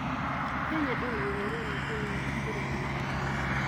Kenya ĩna ũhoro wa tene wa kũrũa na ungumania.